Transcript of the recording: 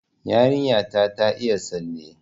Yarinya ta ta iya tsalle